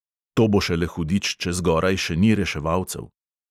"To bo šele hudič, če zgoraj še ni reševalcev."